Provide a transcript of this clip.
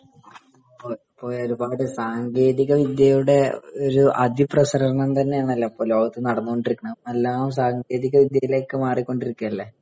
അതേ. ഒരുപാട് സാങ്കേതിക വിദ്യയുടെ ഒരു അതിപ്രസരം തന്നെയാണല്ലോ ഇപ്പൊ ലോകത്ത്‌ നടന്നോണ്ടിരിക്കുന്നത്. എല്ലാം സാങ്കേതികവിദ്യയിലേക്ക് മാറിക്കൊണ്ടിരിക്കുകയല്ലേ